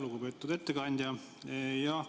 Lugupeetud ettekandja!